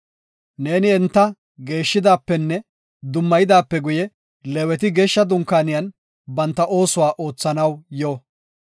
“Neeni enta geeshshidaapenne dummayidaape guye Leeweti Geeshsha Dunkaaniyan banta oosuwa oothanaw yo.